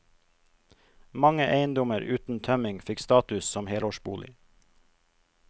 Mange eiendommer uten tømming fikk status som helårsbolig.